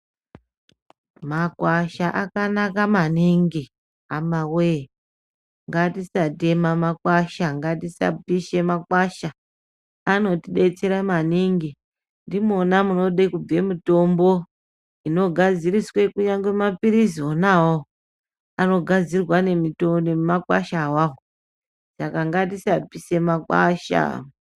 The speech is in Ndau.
Makwasha akanaka maningi hamawee. Ngatisatema makwasha. Ngatisapisha makwasha. Anotidetsera maningi. Ndimwona munode kubve mitombo inogadziriswe kunyangwe maphirizi ona awawo. Anogadzirwa ngemakwasha ona awawo. Saka ngatisapisha makwasha.